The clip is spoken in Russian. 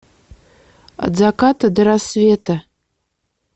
от заката до рассвета